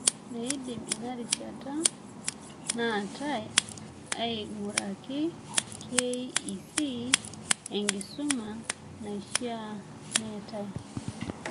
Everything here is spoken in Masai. Meidim ina rishata naatai aing'uraki KEC enkisuma naishaa neetai.